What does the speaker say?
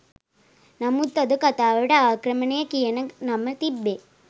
නමුත් අද කතාවට ආක්‍රමණය කියන නම තිබ්බේ